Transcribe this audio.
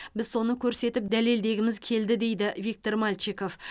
біз соны көрсетіп дәлелдегіміз келді дейді виктор мальчиков